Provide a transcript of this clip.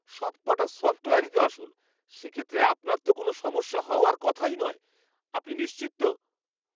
সবকটা সফ্টওয়্যারই তো আসল, সে ক্ষেত্রে আপনার তো কোনও সমস্যা হওয়ার কথাই নয়। আপনি নিশ্চিত তো?